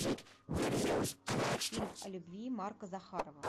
фильм о любви марка захарова